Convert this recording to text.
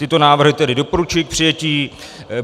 Tyto návrhy tedy doporučuji k přijetí.